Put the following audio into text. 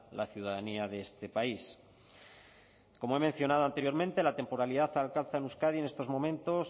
la ciudadanía de este país como he mencionado anteriormente la temporalidad alcanza en euskadi en estos momentos